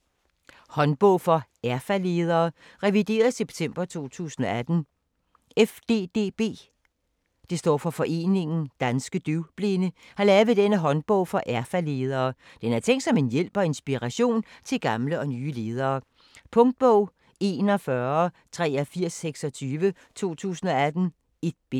Håndbog for erfaledere: revideret september 2018 FDDB (Foreningen Danske DøvBlinde) har lavet denne håndbog for erfaledere. Den er tænkt som en hjælp og inspiration til gamle og nye ledere. Punktbog 418326 2018. 1 bind.